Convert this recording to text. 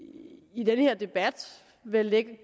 i den her debat vel lægger